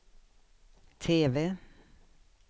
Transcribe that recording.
TV